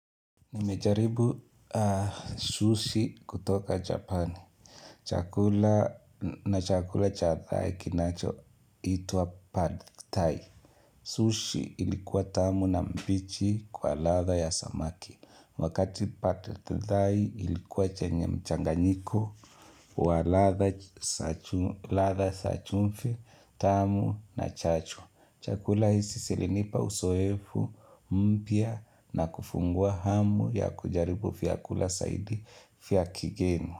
Nimejaribu sushi kutoka Japani. Chakula na chakula cha thai kinachoitwa pad thai. Sushi ilikuwa tamu na mbichi kwa ladha ya samaki. Wakati pad thai ilikuwa chenye mchanganyiko wa ladha za chumvi tamu na chachu. Chakula hizi zilinipa uzoefu mpya na kufungua hamu ya kujaribu vyakula zaidi vya kigeni.